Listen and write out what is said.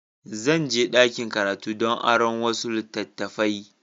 Zan je ɗakin karatu don aron wasu littattafai.